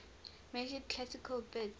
measured classical bits